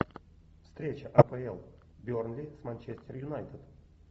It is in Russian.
встреча апл бернли с манчестер юнайтед